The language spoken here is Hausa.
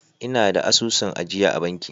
Ina da asusun ajiya a banki.